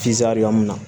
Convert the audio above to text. min na